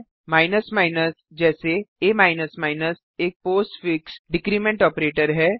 जैसे आ एक postfix decrement postfix decrement operator है